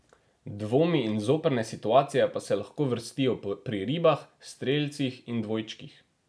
Dvomi in zoprne situacije pa se lahko vrstijo pri ribah, strelcih in dvojčkih.